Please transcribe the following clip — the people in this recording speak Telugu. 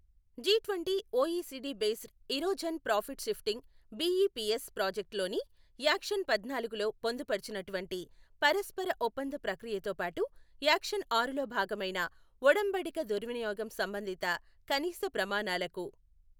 G twenty OECD base erosion profit shifting BEPS project లోని యాక్షన్ పద్నాలుగులో పొందుపరచినటువంటి పరస్పర ఒప్పంద ప్రక్రియతో పాటు యాక్షన్ ఆరులో భాగమైన ఒడంబడిక దుర్వినియోగం సంబంధిత కనీస ప్రమాణాలకు.